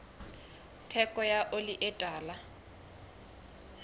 theko ya oli e tala